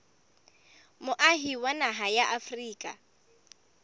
moahi wa naha ya afrika